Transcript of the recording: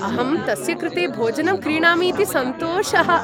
अहं तस्य कृते भोजनं क्रीणामि इति सन्तोषः।